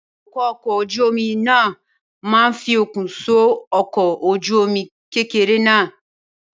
Awakọ̀ ọkọ̀ ojú omi náà máa fi okùn so ọkọ̀ ojú omi kékeré náà